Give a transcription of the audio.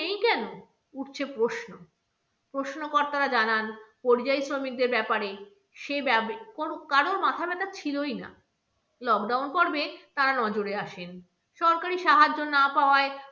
উঠছে প্রশ্ন, প্রশ্ন কর্তারা জানান, পরিযায়ী শ্রমিকদের ব্যাপারে সেভাবে কারোর মাথা ব্যাথা ছিলই না, lockdown পর্বে তা নজরে আসেন, সরকারি সাহায্য না পাওয়ায়